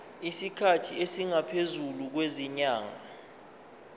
isikhathi esingaphezulu kwezinyanga